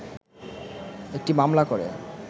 একটি মামলা করে